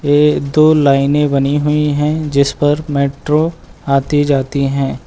ये दो लाइने बनी हुई हैं जिस पर मेट्रो आती जाती हैं।